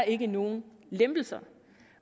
ikke nogen lempelser